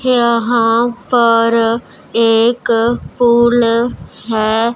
यहां पर एक फूल है।